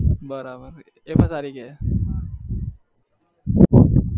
બરાબર એતો સારી કે